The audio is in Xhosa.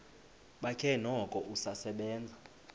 bakhe noko usasebenza